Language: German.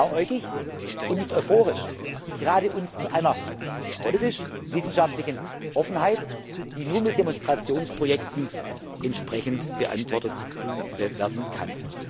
ab. Ich bin nicht blauäugig und nicht euphorisch. Ich rate uns zu einer politisch wissenschaftlichen Offenheit, die nur mit Demonstrationsprojekten entsprechend beantwortet werden